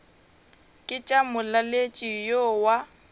ke tša molaletši yo wa